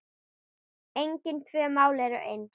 Engin tvö mál eru eins.